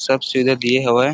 सब सीधे दिए हवए ।